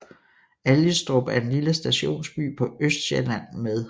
Algestrup er en lille stationsby på Østsjælland med